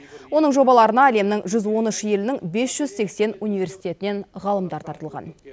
оның жобаларына әлемнің жүз он үш елінің бес жүз сексен университетінен ғалымдар тартылған